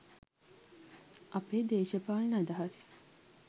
අපේ දේශපාලන අදහස්